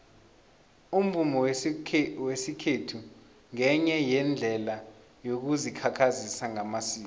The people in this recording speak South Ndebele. umvumo wesikhethu ngenye yeendlela yokuzikhakhazisa ngamasiko